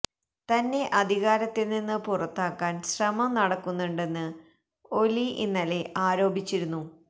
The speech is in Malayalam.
തന്നെ അധികാരത്തിൽ നിന്ന് പുറത്താക്കാൻ ശ്രമം നടക്കുന്നുണ്ടെന്ന് ഒലി ഇന്നലെ ആരോപിച്ചിരുന്നു